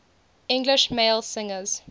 english male singers